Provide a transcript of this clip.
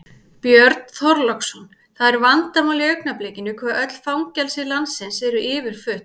Björn Þorláksson: Það er vandamál í augnablikinu hve öll fangelsi landsins eru yfirfull?